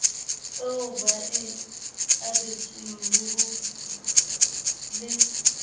eo ba e abetsweng le